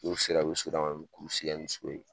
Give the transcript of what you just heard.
N'u sera u bi segin ka na u sigi yan ni so ye.